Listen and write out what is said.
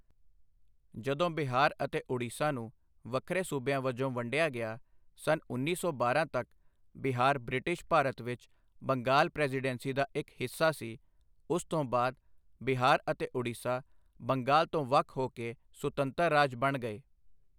ਜਦੋਂ ਬਿਹਾਰ ਅਤੇ ਉੜੀਸਾ ਨੂੰ ਵੱਖਰੇ ਸੂਬਿਆਂ ਵਜੋਂ ਵੰਡਿਆ ਗਿਆ ਸੰਨ ਉੱਨੀ ਸੌ ਬਾਰਾਂ ਤੱਕ ਬਿਹਾਰ ਬ੍ਰਿਟਿਸ਼ ਭਾਰਤ ਵਿੱਚ ਬੰਗਾਲ ਪ੍ਰੈਜ਼ੀਡੈਂਸੀ ਦਾ ਇੱਕ ਹਿੱਸਾ ਸੀ ਉਸ ਤੋਂ ਬਾਅਦ ਬਿਹਾਰ ਅਤੇ ਉੜੀਸਾ ਬੰਗਾਲ ਤੋਂ ਵੱਖ ਹੋ ਕੇ ਸੁਤੰਤਰ ਰਾਜ ਬਣ ਗਏ